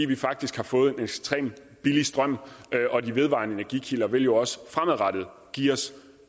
vi faktisk har fået en ekstremt billig strøm og de vedvarende energikilder vil jo også fremadrettet give os